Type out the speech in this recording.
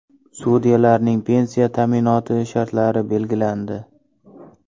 Sudyalarning pensiya ta’minoti shartlari belgilandi.